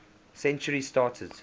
century started